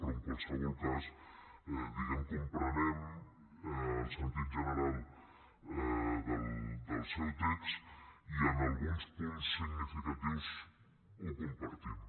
però en qualsevol cas diguem ne comprenem el sentit general del seu text i en alguns punts significatius el compartim